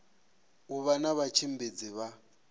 u vha na vhatshimbidzi vha